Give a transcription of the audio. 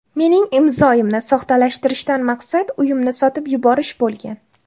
Mening imzoyimni soxtalashtirishdan maqsad uyimni sotib yuborish bo‘lgan.